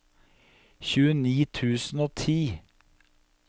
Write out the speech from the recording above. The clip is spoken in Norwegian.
tjueni tusen og ti